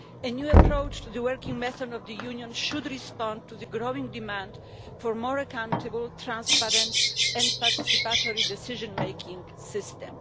A new approach to the working method of the Union should respond to the growing demand for a more accountable, transparent and participatory decision making system.